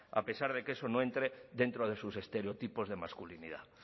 a pesar de que eso no entre dentro de sus estereotipos de masculinidad